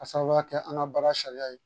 K'a sababuya kɛ an ka baara sariya ye